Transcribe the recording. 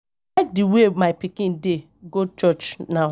I like the way my pikin dey go church now